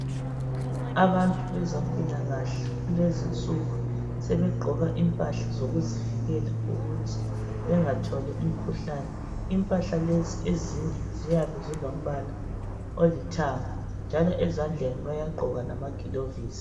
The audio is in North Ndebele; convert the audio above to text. Abantu bezempilakahle kulezinsuku sebegqoka impahla zokuzivikela ukuthi bengatholi umkhuhlane. Impahla lezi ezinye ziyabe zilombala olithanga njalo ezandleni bayagqoka amagilovisi.